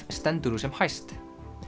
stendur nú sem hæst